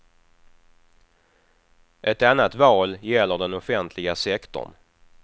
Ett annat val gäller den offentliga sektorn.